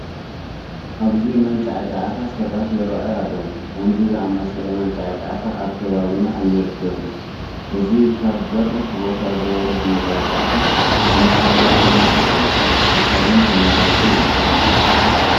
ኣብዚ መንጫዕጫዕታ ሰባት ይርአዩ ኣለዉ፡፡ ከምዚ ዝኣምሰለ መንጫዕጫዕታ ኣብ ከባቢና ኣይርከብን፡፡ እዚ ካብ በሪኽ ቦታ ዝወርድ መንጫዕጫዕታ ንመሐደሲ መንፈስን ኣካልን ተመራፂ እዩ፡፡